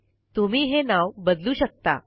तुम्ही हे नाव बदलू शकता